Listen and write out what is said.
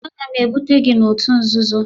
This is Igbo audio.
Aga m ebute gị n'òtù nzuzo!